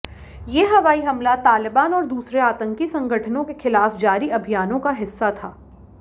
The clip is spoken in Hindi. ये हवाई हमला तालिबान और दूसरे आतंकी संगठनों के खिलाफ जारी अभियानों का हिस्सा था